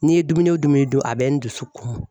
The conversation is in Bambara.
N'i ye dumuni o dumuni dun a bɛ n dusu kumun.